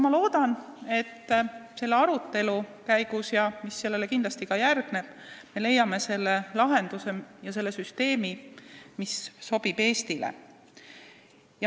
Ma loodan, et selle arutelu käigus ja selle käigus, mis sellele kindlasti järgneb, me leiame lahenduse ja süsteemi, mis Eestile sobib.